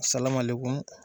Salamalenkun